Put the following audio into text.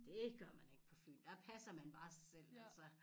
Dét gør man ikke på Fyn der passer man bare sig selv altså